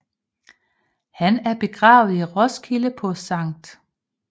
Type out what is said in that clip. Han er begravet i Roskilde på Skt